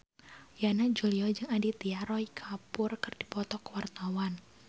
Yana Julio jeung Aditya Roy Kapoor keur dipoto ku wartawan